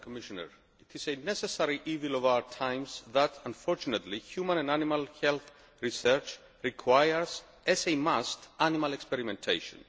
Madam President, it is a necessary evil of our times that, unfortunately, human and animal health research requires, as a must, animal experimentation.